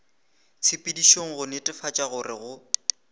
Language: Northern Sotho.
tshepedišong go netefatša gore go